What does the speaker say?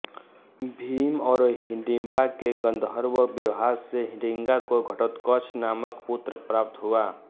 भीम और हिडिंबा के गन्धर्व विवाह से हिडिंबा को घटोत्कच नामक पुत्र प्राप्त हुआ